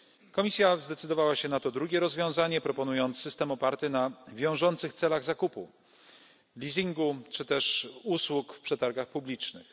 Komisja zdecydowała się na to drugie rozwiązanie, proponując system oparty na wiążących celach zakupu, leasingu, czy też usług w przetargach publicznych.